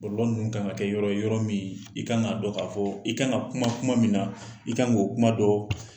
ninnu ka ŋa kɛ yɔrɔ ye yɔrɔ miin i ka ŋa dɔ k'a fɔɔ i ka ŋa kuma kuma min na, i ka ŋ'o kuma dɔɔ.